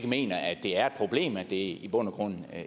mener at det er et problem og at det i bund og grund